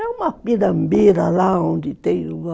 É uma pirambira lá onde tem o...